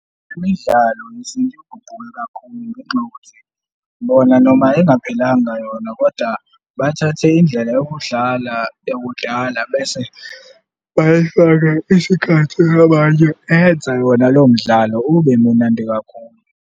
Imidlalo yesintu iguquke kakhulu ngenxa yokuthi bona noma engaphelanga yona koda bathathe indlela yokudlala yokudlala bese bayifake isikhatsi abanye eyenza yona lowo mdlalo ube munandi kakhulu.